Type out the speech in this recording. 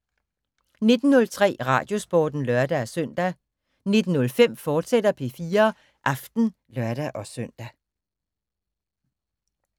19:03: Radiosporten (lør-søn) 19:05: P4 Aften, fortsat (lør-søn)